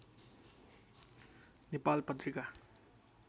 Nepal Patrika